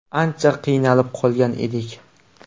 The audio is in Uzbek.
Ancha qiynalib qolgan edik.